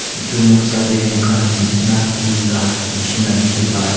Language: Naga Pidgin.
etu Noksa ti mokan besna tenta neshina teki ba as.